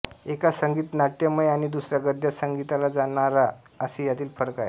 एक संगीतनाट्यमय अणि दुसरा गद्यात सांगितला जाणारा असे यातील फरक आहेत